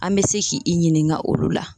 An bɛ se k'i i ɲininga olu la